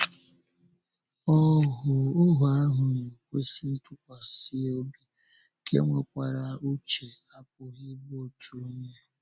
“Ohu ahụ na-ekwesị ntụkwasị obi, nke nwekwara uche” apụghị ịbụ otu onye.